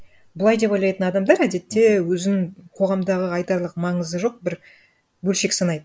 былай деп ойлайтын адамдар әдетте өзін қоғамдағы айтарлық маңызы жоқ бір бөлшек санайды